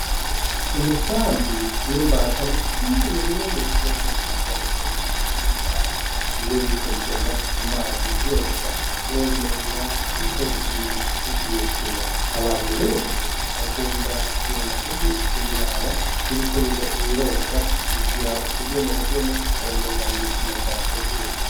Imisambi n'imbata ni kimwe mu bikoko vyiza bibereye ijisho kuraba iyo biriko bigenda ku mazi vyoga womenga biriko bigira imikino, abantu benshi bakunda kugenda kubiraba biriko birogo, bigira utugenegene womenga n'imikino vyateguye.